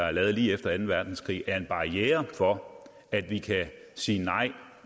er lavet lige efter anden verdenskrig er en barriere for at vi kan sige nej